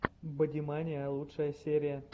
бодимания лучшая серия